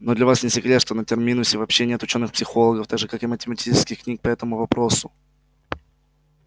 но для вас не секрет что на терминусе вообще нет учёных психологов так же как и математических книг по этому вопросу